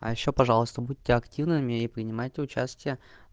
а ещё пожалуйста будьте активными и принимайте участие